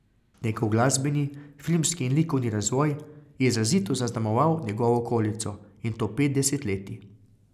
Njegov glasbeni, filmski in likovni razvoj je izrazito zaznamoval njegovo okolico, in to pet desetletij.